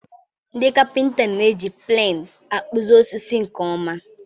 Ndị kapịnta na-eji pleni akpụzi osisi nke ọma.